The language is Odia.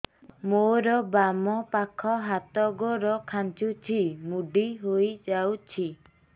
ମୋର ବାମ ପାଖ ହାତ ଗୋଡ ଖାଁଚୁଛି ମୁଡି ହେଇ ଯାଉଛି